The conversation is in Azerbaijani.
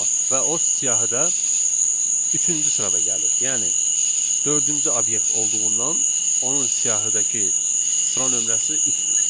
Və o siyahı da üçüncü sırada gəlir, yəni dördüncü obyekt olduğundan onun siyahıdakı sıra nömrəsi üçdür.